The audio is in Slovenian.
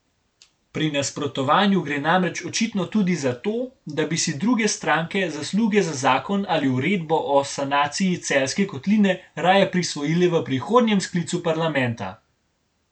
Pri nasprotovanju gre namreč očitno tudi za to, da bi si druge stranke zasluge za zakon ali uredbo o sanaciji Celjske kotline raje prisvojile v prihodnjem sklicu parlamenta.